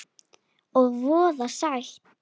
Og voða sætt.